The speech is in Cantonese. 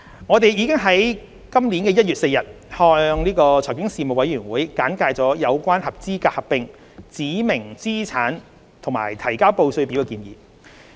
我們已在今年1月4日向財經事務委員會簡介有關合資格合併、指明資產和提交報稅表的建議。